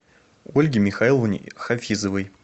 ольге михайловне хафизовой